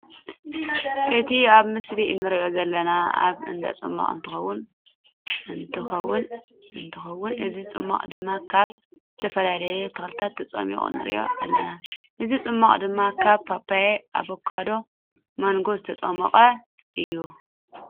እቲ ኣብ ምስሊ እንሪኦ ዘለና ኣብ እንዳፅማቕ እንትከውን እንትከውን እዚ ፅሟቅ ድማ ካብ ዝተፈላለዩ ተክልታት ተፀሚቁ ንሪኦ ኣለና። እዚ ፅሟቅ ድማ ካብ ፓፓዮ፣ ኣባካዶን ማንጎን ዝተፀመቀ እዩ።።